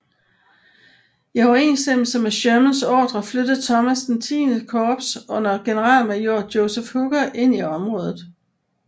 I overensstemmelse med Shermans ordrer flyttede Thomas XX Korps under generalmajor Joseph Hooker ind i området